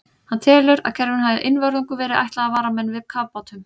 Hann telur, að kerfinu hafi einvörðungu verið ætlað að vara menn við kafbátum.